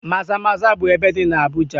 Maza-maza bụ ebe dị na Abuja.